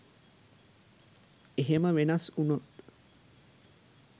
එහෙම වෙනස් වුනොත්